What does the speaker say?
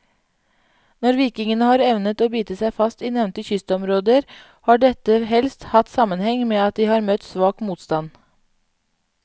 Når vikingene har evnet å bite seg fast i nevnte kystområder, har dette helst hatt sammenheng med at de har møtt svak motstand.